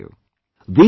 Let me tell you